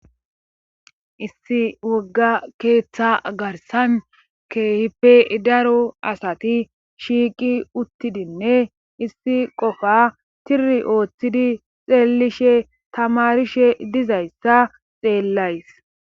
issi wogga keeththa garsan keehipe daro asati shiiqi uttidinne issi qofa tiri ooththidi xeellishe tamarishe dizayssa xeellays